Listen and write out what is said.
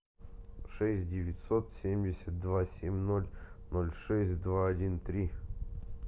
шесть девятьсот семьдесят два семь ноль ноль шесть два один три